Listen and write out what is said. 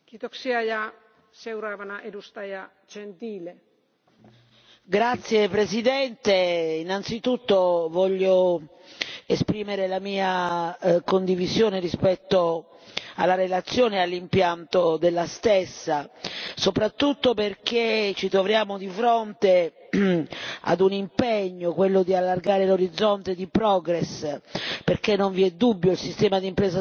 Signora Presidente, onorevoli colleghi, innanzitutto voglio esprimere la mia condivisione rispetto alla relazione e all'impianto della stessa, soprattutto perché ci troviamo di fronte ad un impegno, quello di allargare l'orizzonte di Progress, perché non vi è dubbio, il sistema di impresa sociale genera benessere e lavoro